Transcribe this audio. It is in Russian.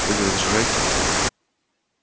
вы не возражаете